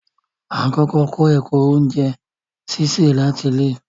Á n kọkọ kọ ẹ̀kọ ọ̀unjẹ síṣẹ lati ilẹ̀